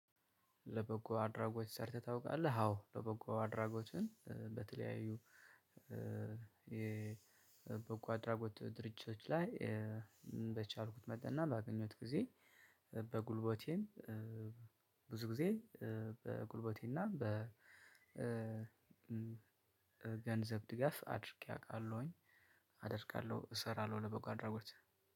ለበጎ አድራጎች ሰርተህ ታውቃለህ? አዎ ለበጎ አድራጎችን በተለያዩ የ በጎ አድራጎት ድርጅቶች ላይ በቻልኩት መጠን እና በአገኘሁት ጊዜ በጉልበቴም ብዙ ጊዜ በጉልበቴ እና በ ገንዘብ ድጋፍ አድርጌ አውቃለሁኝ። አደርጋለሁ እሰራለሁ ለበጎ አድርጎት።